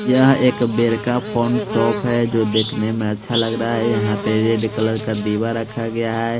यहाँ एक बेर का फोन शॉप है जो देखने में अच्छा लग रहा है यहाँ पे रेड कलर का दीवा रखा गया है ।